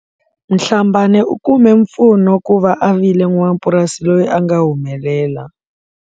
Mhlabane u kume mpfuno ku va a vile n'wamapurasi loyi a nga humelela.